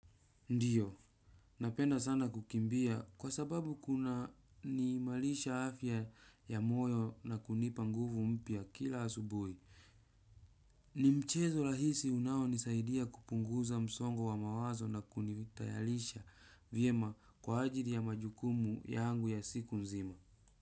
Ndiyo, napenda sana kukimbia kwa sababu kuna niimarisha afya ya moyo na kunipa nguvu mpya kila asubuhi. Ni mchezo rahisi unaonisaidia kupunguza msongo wa mawazo na kunitayarisha vyema kwa ajili ya majukumu yangu ya siku nzima.